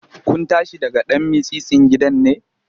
Kun tashi daga ɗan mitsitsin gidan ne?